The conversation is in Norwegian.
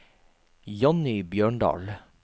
Johnny Bjørndal